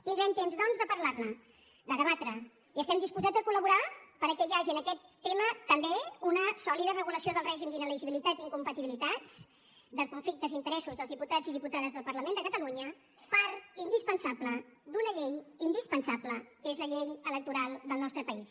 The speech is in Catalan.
tindrem temps doncs de parlar ne de debatre i estem disposats a col·laborar perquè hi hagi en aquest tema també una sòlida regulació del règim d’inelegibilitat i incompatibilitats dels conflictes i interessos dels diputats i diputades del parlament de catalunya part indispensable d’una llei indispensable que és la llei electoral del nostre país